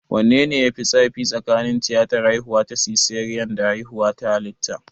Wanne ne ya fi zafi tsakanin tiyatar haihuwa ta siseriyan da haihuwa ta halitta?